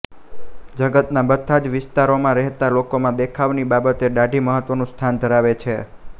જગતના બધા જ વિસ્તારોમાં રહેતા લોકોમાં દેખાવની બાબતે દાઢી મહત્વનું સ્થાન ધરાવે છે